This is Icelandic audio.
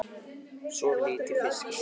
Soðið lítið fiskstykki?